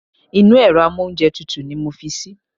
Inú èro amóúnjetutù ni mo fi sí